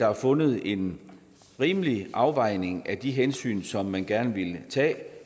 er fundet en rimelig afvejning af de hensyn som man gerne ville tage